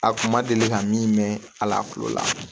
A kun ma deli ka min mɛn ala kulo la